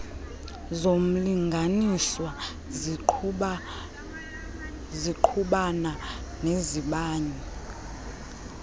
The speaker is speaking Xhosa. zomlinganiswa zingqubana nezabanye